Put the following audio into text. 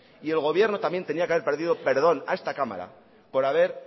y el gobierno también tenía que haber pedido perdón a esta cámara